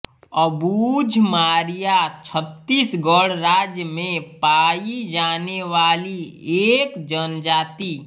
अबुझ मारिया छत्तीसगढ़ राज्य में पायी जाने वाली एक जनजाति